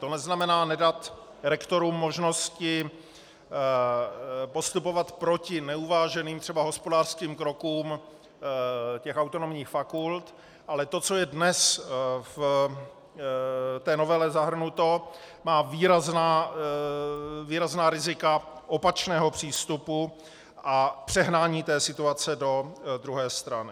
To neznamená nedat rektorům možnosti postupovat proti neuváženým, třeba hospodářským krokům těch autonomních fakult, ale to, co je dnes v té novele zahrnuto, má výrazná rizika opačného přístupu a přehnání té situace do druhé strany.